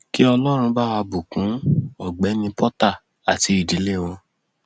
kí ọlọrun bá wá bùkún ọgbẹni porta àti ìdílé wọn